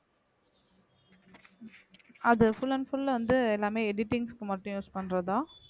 அது full and full வந்து எல்லாமே editings க்கு மட்டும் use பண்றதா